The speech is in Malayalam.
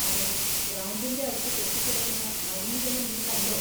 അതെ, ഗ്രൗണ്ടിന്റെ അടുത്ത് കെട്ടിക്കിടക്കുന്ന മലിനജലം നീ കണ്ടോ?